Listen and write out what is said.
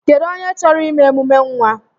Kedụ onye chọrọ ime emume nwa?